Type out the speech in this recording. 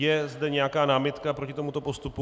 Je zde nějaká námitka proti tomuto postupu?